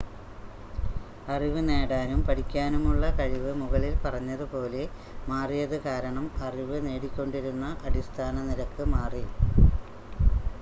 അറിവ് നേടാനും പഠിക്കാനുമുള്ള കഴിവ് മുകളിൽ പറഞ്ഞതുപോലെ മാറിയത് കാരണം അറിവ് നേടിക്കൊണ്ടിരുന്ന അടിസ്ഥാന നിരക്ക് മാറി